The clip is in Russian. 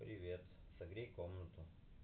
согрей комнату